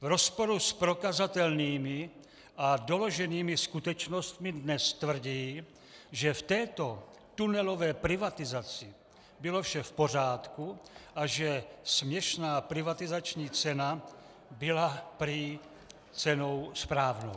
V rozporu s prokazatelnými a doloženými skutečnostmi dnes tvrdí, že v této tunelové privatizaci bylo vše v pořádku a že směšná privatizační cena byla prý cenou správnou.